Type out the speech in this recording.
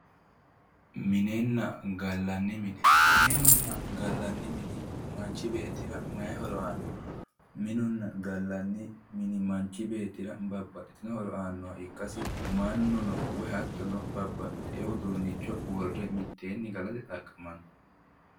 minenna gallanni mine minunna gallanni mini manchi beettira mayi horo aanno minunna gallanni mini manchi beettira babbaxxitino horo aannoha ikkasinni mannuno woyi hattono udunnicho wodhe mitteenni galate horoonsiranno.